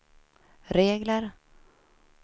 regler